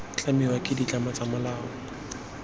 tlamiwa ke ditlamelo tsa molao